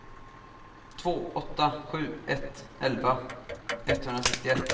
två åtta sju ett elva etthundrasextioett